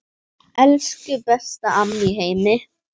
Elsku besta amma í heimi.